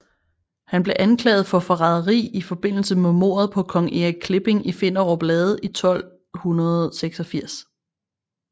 Han blev anklaget for forræderi i forbindelse med mordet på kong Erik Klipping i Finderup Lade i 1286